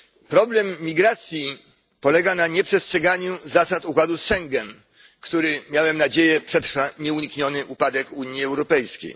Problem migracji polega na nieprzestrzeganiu zasad układu z Schengen, który miałem nadzieję przetrwa nieunikniony upadek Unii Europejskiej.